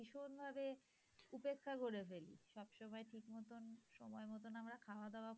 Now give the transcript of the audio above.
ভীষণ ভাবে উপেক্ষা করে ফেলি। সবসময় ঠিক মতন সময় মতন আমরা খাওয়া দাওয়া,